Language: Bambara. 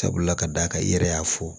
Sabula ka d'a kan i yɛrɛ y'a fɔ